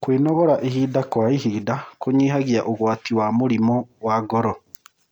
Kwnogora ĩhĩda kwa ĩhĩda kũnyĩhagĩa ũgawtĩ wa mũrĩmũ wa ngoro